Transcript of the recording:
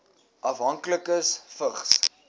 afhanklikes vigs